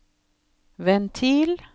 ventil